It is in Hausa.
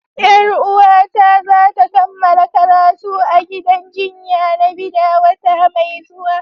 Yar uwata za ta kammala karatu a gidan jinya na Bida wata mai zuwa.